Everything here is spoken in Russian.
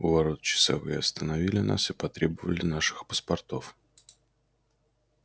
у ворот часовые остановили нас и потребовали наших паспортов